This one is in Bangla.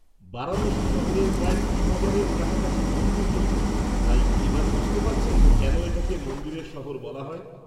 -বারাণসী শহরের প্রায় তিন হাজারের কাছাকাছি মন্দির রয়েছে, তাই এবার বুঝতে পারছেন কেন এটাকে 'মন্দিরের শহর' বলা হয়।